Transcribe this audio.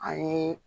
A ye